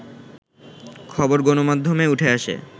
খবর গণমাধ্যমে উঠে আসে